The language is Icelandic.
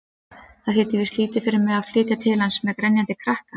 Það þýddi víst lítið fyrir mig að flytja til hans-með grenjandi krakka!